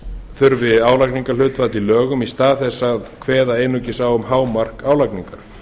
þurfi álagningarhlutfall í lögum í stað þess að kveða einungis á um hámark álagningar